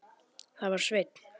Það var Sveinn.